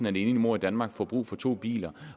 en enlig mor i danmark får brug for to biler